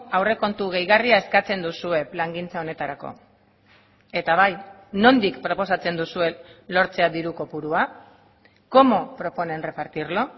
aurrekontu gehigarria eskatzen duzue plangintza honetarako eta bai nondik proposatzen duzuen lortzea diru kopurua cómo proponen repartirlo